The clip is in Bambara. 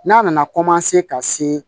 N'a nana ka se